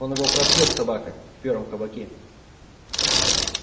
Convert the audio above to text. он его пропьёт собака в первом кабаке